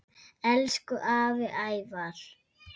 Elsku afi Ævar.